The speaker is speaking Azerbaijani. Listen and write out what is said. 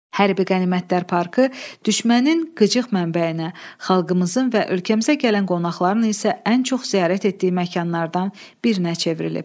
Hərbi qənimətlər parkı düşmənin qıcıq mənbəyinə, xalqımızın və ölkəmizə gələn qonaqların isə ən çox ziyarət etdiyi məkanlardan birinə çevrilib.